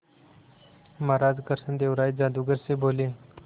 महाराज कृष्णदेव राय जादूगर से बोले